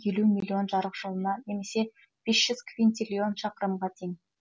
елу миллион жарық жылына немесе бес жүз квинтиллион шақырымға тең